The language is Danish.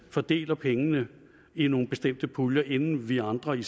fordeler pengene i nogle bestemte puljer inden vi andre i